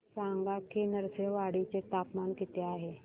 सांगा की नृसिंहवाडी चे तापमान किती आहे